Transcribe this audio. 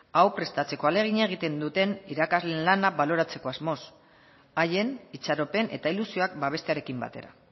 hau prestatzeko ahalegina egiten duten irakasleen lana baloratzeko asmoz haien itxaropen eta ilusioak babestearekin batera